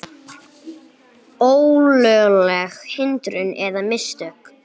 Ólögleg hindrun eða mistök?